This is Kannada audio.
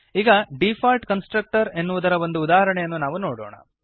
ಈಗ ಡಿಫಾಲ್ಟ್ ಕನ್ಸ್ಟ್ರಕ್ಟರ್ಸ್ ಎನ್ನುವುದರ ಒಂದು ಉದಾಹರಣೆಯನ್ನು ನಾವು ನೋಡೋಣ